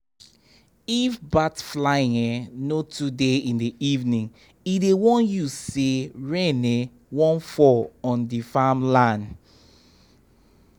if bat flying um no too dey in the evening e dey warn u say rain um wan fall on the farm land